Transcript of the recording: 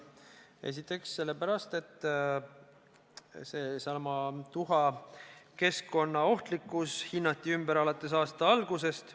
Esiteks sellepärast, et seesama tuha keskkonnaohtlikkus hinnati ümber alates aasta algusest.